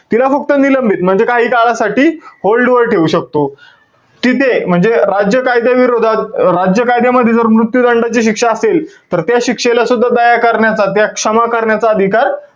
तिला फक्त निलंबित, म्हणजे काही काळासाठी hold वर ठेऊ शकतो. तिथे म्हणजे राज्य कायद्याविरोधात, राज्य कायद्यामध्ये जर मृत्यू दंडाची शिक्षा असेल, तर त्या शिक्षेला सुद्धा दया करण्याचा, त्या क्षमा करण्याचा अधिकार,